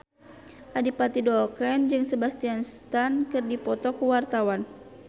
Adipati Dolken jeung Sebastian Stan keur dipoto ku wartawan